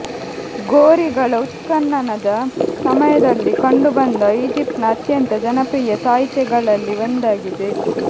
ಗೋರಿಗಳ ಉತ್ಖನನದ ಸಮಯದಲ್ಲಿ ಕಂಡುಬಂದ ಈಜಿಪ್ಟ್ನ ಅತ್ಯಂತ ಜನಪ್ರಿಯ ತಾಯಿತೆಗಳಲ್ಲಿ ಒಂದಾಗಿದೆ